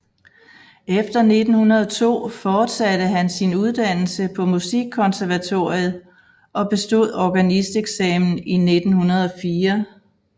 Efter 1902 fortsatte han sin uddannelse på Musikkonservatoriet og bestod organisteksamen i 1904